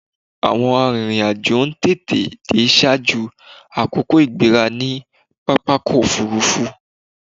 Àwọn arìnrìn-àjò ń tètè dé ṣaájú àkókò ìgbéra ní pápákọ̀-òfurufú.